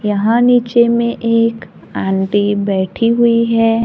यहां नीचे में एक आंटी बैठी हुई है।